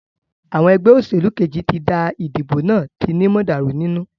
Àwọn egbé òsèlú Kejì tí dá ìdìbò náà tí ni mọ̀dàrú nínú.